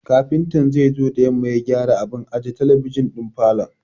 Kafintan zai zo da yamma ya gyara abun aje talabijin ɗin falon.